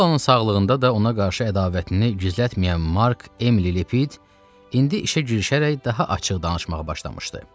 Sullannın sağlığında da ona qarşı ədavətini gizlətməyən Mark Emli Lepid indi işə girişərək daha açıq danışmağa başlamışdı.